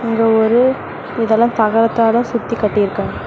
அங்க ஒரு இதெல்லா தகறத்தால சுத்தி கட்டிருக்காங்க.